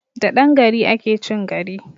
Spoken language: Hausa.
Da dan gari ake chin gari!